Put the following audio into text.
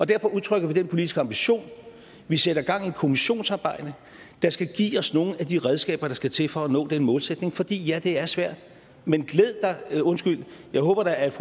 derfor udtrykker vi den politiske ambition vi sætter gang i et kommissionsarbejde der skal give os nogle af de redskaber der skal til for at nå den målsætning fordi ja det er svært men jeg håber da at